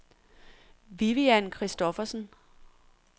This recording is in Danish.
Vivian Kristoffersen